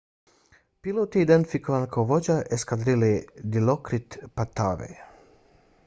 pilot je identifikovan kao vođa eskadrile dilokrit pattavee